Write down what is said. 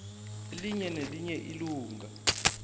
elinye nelinye ilunga